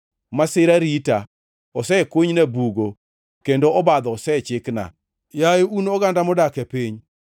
Masira rita, osekunyna bugo kendo obadho osechikna, yaye un oganda modak e piny.